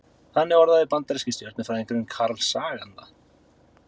Þannig orðaði bandaríski stjörnufræðingurinn Carl Sagan það.